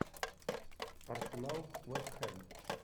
арсенал вест хэм